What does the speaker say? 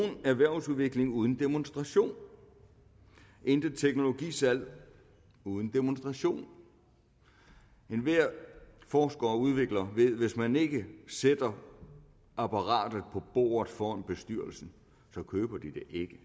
erhvervsudvikling uden demonstration intet teknologisalg uden demonstration enhver forsker og udvikler ved at hvis man ikke sætter apparatet på bordet foran bestyrelsen køber de det ikke